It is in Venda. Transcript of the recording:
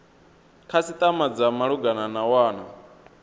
khasitama dza malugana na wana